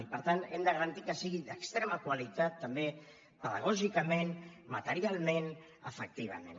i per tant hem de garantir que sigui d’extrema qualitat també pedagògicament materialment afectivament